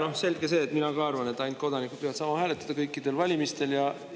Jaa, selge see, mina arvan ka, et ainult kodanikud peavad saama kõikidel valimistel hääletada.